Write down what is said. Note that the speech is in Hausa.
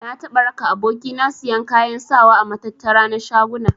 Na taɓa raka aboki na siyan kayan sawa a matattara na shaguna.